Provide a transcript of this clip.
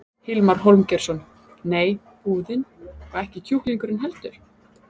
Hilmar Hólmgeirsson: Nei búðin, og ekki kjúklingurinn heldur?